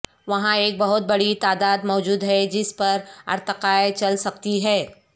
وہاں ایک بہت بڑی تعداد موجود ہے جس پر ارتقاء چل سکتی ہے